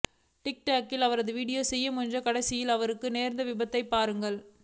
tick டாக்கில் அவர் video செய்ய முயன்று கடைசியில் அவருக்கு நேர்ந்த விபத்தை பாருங்கள்